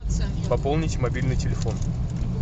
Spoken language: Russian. пополнить мобильный телефон